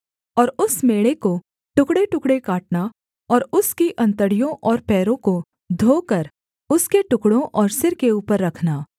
और उस मेढ़े को टुकड़ेटुकड़े काटना और उसकी अंतड़ियों और पैरों को धोकर उसके टुकड़ों और सिर के ऊपर रखना